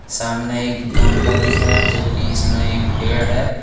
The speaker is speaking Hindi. सामने एक गमला दिख रहा हैं जो कि इसमें एक पेड़ है।